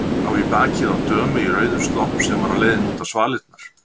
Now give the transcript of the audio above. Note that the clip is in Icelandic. Sá í bakið á dömu í rauðum slopp sem var á leiðinni út á svalirnar.